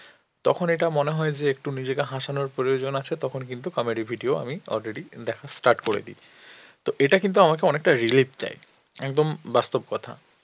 তখন এটা মনে হয় যে একটু নিজেকে হাসানোর প্রয়োজন আছে তখন কিন্তু comedy video আমি already দেখা start করে দিই. তো এটা কিন্তু আমাকে অনেকটা relieve দেয় একদম বাস্তব কথা.